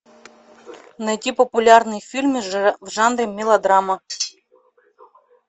найти популярные фильмы в жанре мелодрама